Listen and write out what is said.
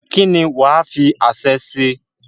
kí ni wàá fi aṣẹ́ ṣe?